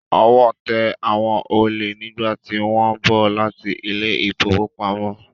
Ọwọ́ tẹ àwọn olè nígbàtí wọ́n ń bọ̀ láti ilé ìfowópamọ́.